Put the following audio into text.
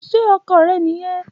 Ṣe ọkọ rẹ niyẹn?